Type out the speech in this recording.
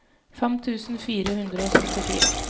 fem tusen fire hundre og syttifire